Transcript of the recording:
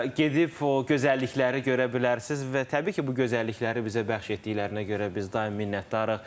Gedib o gözəllikləri görə bilərsiniz və təbii ki, bu gözəllikləri bizə bəxş etdiklərinə görə biz daim minnətdarıq.